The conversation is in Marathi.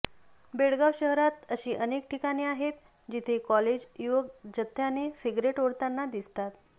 बेळगाव शहरात अशी अनेक ठिकाणे आहेत जिथे कॉलेज युवक जथ्याने सिगरेट ओढताना दिसतात